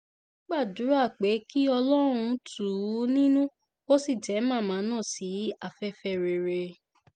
wọ́n gbàdúrà pé kí ọlọ́run tù ú nínú kó sì tẹ màmá náà sí afẹ́fẹ́ rere